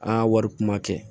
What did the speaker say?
Aa wari kuma kɛ